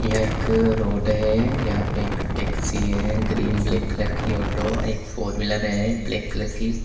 यह एक रोड है यहां पे टैक्सी है ग्रीन ब्लैक कलर की ऑटो एक फोर व्हीलर है ब्लैक कलर की।